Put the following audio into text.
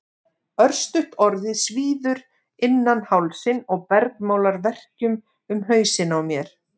Örstutt orðið svíður innan hálsinn og bergmálar verkjum um hausinn á mér.